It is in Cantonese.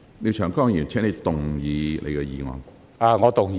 廖長江議員，請動議你的議案。